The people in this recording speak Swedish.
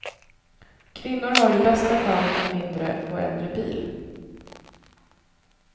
Kvinnor har i bästa fall en mindre och äldre bil.